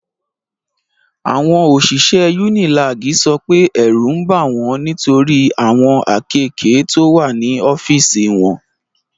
Àwọn òṣìṣẹ́ UNILAG sọ pé ẹ̀rù ń bà wọ́n nitori awon akéèké to wa ní ọ́fíìsì wọn.